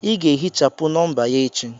Ị ga-ehichapụ nọmba ya echi!